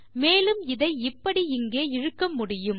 மேலும் இதை இப்படி இங்கே இழுக்க முடியும்